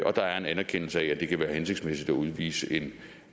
og der er en anerkendelse af at det kan være hensigtsmæssigt at udvise en